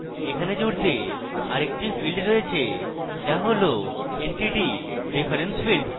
এখানে জুড়তে আরেকটি field রয়েছে যা হল entity reference field